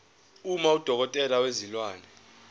uma udokotela wezilwane